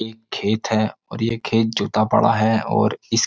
एक खेत है और ये खेत जुता पड़ा है और इस --